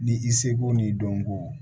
Ni i seko n'i dɔnko